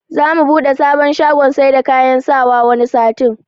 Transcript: Za mu buɗe sabon shagon saida kayan sawa wani satin